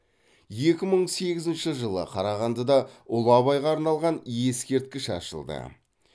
екі мың сегізінші жылы қарағандыда ұлы абайға арналған ескерткіш ашылды